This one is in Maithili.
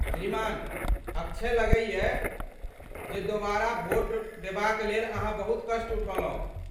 श्रीमान अक्षय, लगैए जे दोबारा वोट देबाक लेल अहाँ बहुत कष्ट उठौलहुँ।